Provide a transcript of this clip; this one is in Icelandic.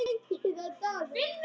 Börnin eru enn ung.